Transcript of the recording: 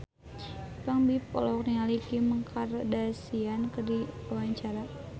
Ipank BIP olohok ningali Kim Kardashian keur diwawancara